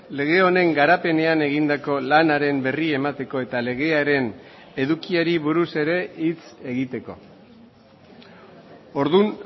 lege honen garapenean egindako lanaren berri emateko eta legearen edukiari buruz ere hitz egiteko orduan